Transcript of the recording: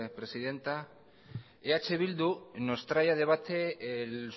presidenta eh bildu nos trae a debate el